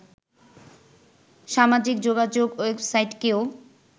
সামাজিক যোগাযোগ ওয়েবসাইটকেও